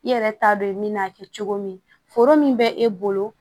I yɛrɛ t'a dɔn i bɛ n'a kɛ cogo min foro min bɛ e bolo